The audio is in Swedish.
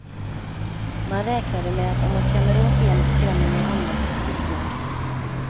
Man räknade med att om man klämmer åt en, skrämmer man andra till tystnad.